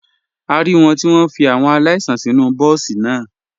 A rí wọn tí wọ́n fi àwọn aláìsàn sínú bọ́ọ̀sì náà.